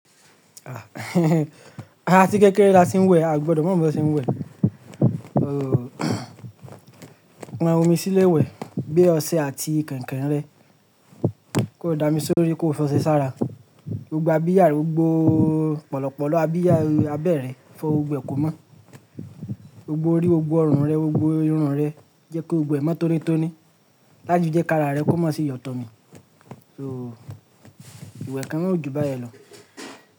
Ah àti kékeré lati ń wẹ̀, a ò gbọdọ̀ máa mọ bí wọ́n ṣe ń wẹ̀. O o, pan omi sílé ìwẹ̀, gbé ọṣẹ àti kẹ̀ǹkẹ̀ǹ rẹ. Kó dá mi sórí kó fọṣẹ sára. Gbogbo abiyá rẹ, gbogbo pòlòpòlò abiyá abẹ́ rẹ fọ́, gbogbo ẹ̀ kó mọ́. Gbogbo orí, gbogbo ọrùn rẹ, gbogbo irun rẹ, jẹ́ kó gbogbo ẹ̀ mọ́ tónítóní. Láti jẹ́ kí ara rẹ kó má ṣe yọ̀tọ̀ mì. So, ìwẹ̀ kan náà ò jù báyẹn lọ.